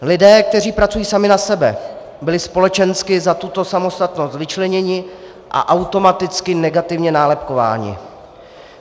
Lidé, kteří pracují sami na sebe, byli společensky za tuto samostatnost vyčleněni a automaticky negativně nálepkováni.